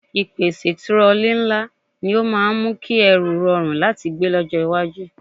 Ìpèsè tirọlí ńlá ni ó máa ń mú kí ẹrù rọrùn láti gbé lọ́jọ́ iwájú